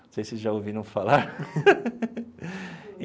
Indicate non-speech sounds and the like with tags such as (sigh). Não sei se vocês já ouviram falar. (laughs)